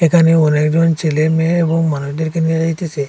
এখানে অনেকজন ছেলে মেয়ে এবং মানুষদেরকে নিয়া যাইতেসে।